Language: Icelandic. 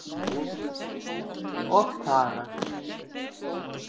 Og þagað.